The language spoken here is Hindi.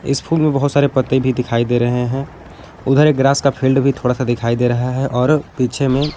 इस फूल में बहुत सारे पत्ते भी दिखाई दे रहे हैं उधर एक ग्रास का फील्ड भी थोड़ा सा दिखाई दे रहा है और पीछे में--